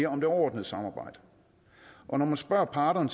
om det overordnede samarbejde når man spørger parterne